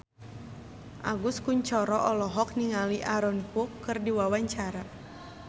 Agus Kuncoro olohok ningali Aaron Kwok keur diwawancara